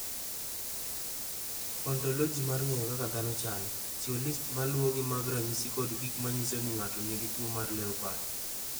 "Ontoloji mar ng’eyo kaka dhano chalo, chiwo list ma luwogi mag ranyisi kod gik ma nyiso ni ng’ato nigi tuwo mar LEOPARD."